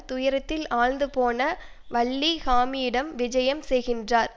துயரத்தில் ஆழ்ந்து போன வள்ளி ஹாமியிடம் விஜயம் செய்கின்றார்